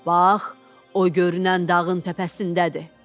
Bax, o görünən dağın təpəsindədir.